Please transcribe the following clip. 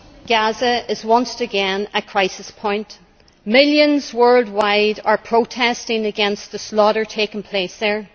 Madam President, Gaza is once again at crisis point. Millions worldwide are protesting against the slaughter taking place there.